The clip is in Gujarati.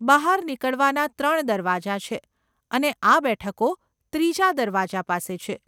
બહાર નીકળવાના ત્રણ દરવાજા છે અને આ બેઠકો ત્રીજા દરવાજા પાસે છે.